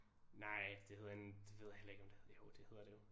Nej det hedder en det ved jeg heller ikke om det jo det hedder det jo